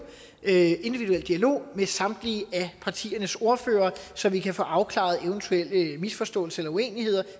en individuel dialog med samtlige af partiernes ordførere så vi kan få afklaret eventuelle misforståelser eller uenigheder